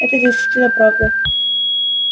это действительно правда